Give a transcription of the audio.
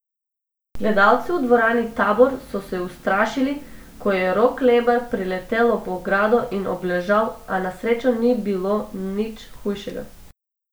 Gledalci v dvorani Tabor so se ustrašili, ko je Rok Lebar priletel ob ogrado in obležal, a na srečo ni bilo nič hujšega.